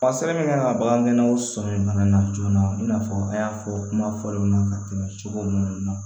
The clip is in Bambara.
A sɛbɛn kan ka bagangɛnnaw sɔmin fana na joona i n'a fɔ an y'a fɔ kuma fɔlenw na ka tɛmɛ cogo minnu na